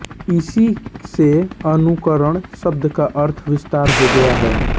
इसी से अनुकरण शब्द का अर्थ विस्तार हो गया है